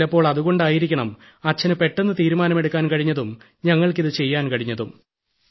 ചിലപ്പോൾ അതുകൊണ്ടായിരിക്കണം അച്ഛന് പെട്ടെന്ന് തീരുമാനമെടുക്കാൻ കഴിഞ്ഞതും ഞങ്ങൾക്കിത് ചെയ്യാൻ കഴിഞ്ഞതും